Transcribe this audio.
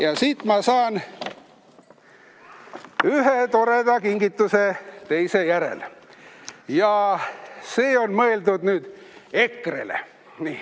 Ja siit ma saan ühe toreda kingituse teise järel ja need on mõeldud EKRE-le.